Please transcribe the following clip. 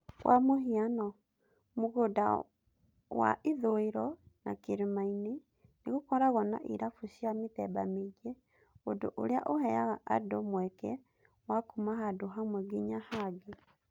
Kwa muhiano, Westlands na Kilimani nĩgukoragwo na irabu cia mĩthemba mĩingĩ, ũndũ ũrĩa ũheaga andũ mweke wa kuuma handũ hamwe nginya hangĩ.